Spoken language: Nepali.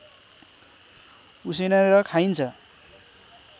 उसिनेर खाइन्छ